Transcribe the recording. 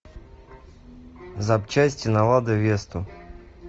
запчасти на ладу весту